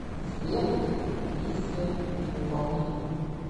сбер миссия невыполнима